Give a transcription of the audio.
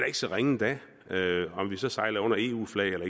ikke så ringe da om vi så sejler under eu flag eller